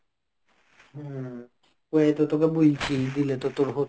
ওয়াহ তো তোকে বলছি. দিলে তো তোর হত.